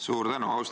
Suur tänu!